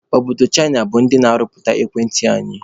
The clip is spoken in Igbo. Obodo Chịna bụ ndị na-arụpụta ekwentị anyị